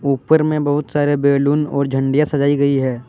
ऊपर में बहुत सारे बैलून और झंडिया सजायी गयी है।